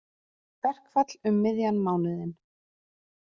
Verkfall um miðjan mánuðinn